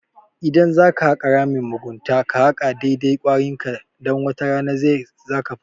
Idan zaka haka ramin mugunta ka haka dai-dai kwarinka, dan wata rana kai zaka fada.